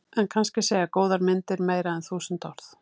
En kannski segja góðar myndir meira en þúsund orð.